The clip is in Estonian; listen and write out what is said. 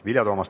Vilja Toomast.